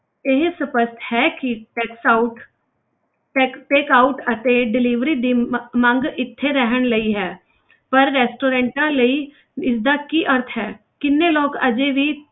ਇਹ ਸਪਸ਼ਟ ਹੈ ਕਿ takes out pick~ pickout ਤੇ delivery ਦੀ ਮ~ ਮੰਗ ਇੱਥੇ ਰਹਿਣ ਲਈ ਹੈ ਪਰ restaurants ਲਈ ਇਸਦਾ ਕੀ ਅਰਥ ਹੈ, ਕਿੰਨੇ ਲੋਕ ਹਜੇ ਵੀ,